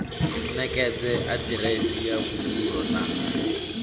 ṋekedze aḓiresi ya vhudzulo na